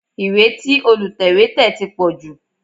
Ìwé tí Olùtẹ̀wé tẹ̀ ti pọ̀ jù